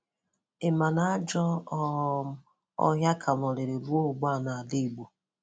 Ị ma na ajọ um ọhịa ka nọrịrị ruo ugbua n’Ala Ìgbò?